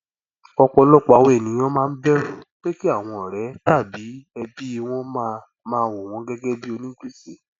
ọpọlọpọ àwọn ènìyàn máa ń bẹrù pé kí àwọn ọrẹ tàbí ẹbí wọn máa máa wo wọn gẹgẹ bíi onígbèsè